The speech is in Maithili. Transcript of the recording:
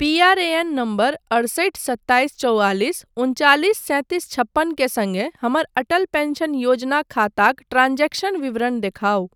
पीआरएएन नम्बर अड़सठि सत्ताइस चौआलिस उनचालिस सैंतीस छप्पन के सङ्गे हमर अटल पेंशन योजना खाताक ट्रांजेक्शन विवरण देखाउ।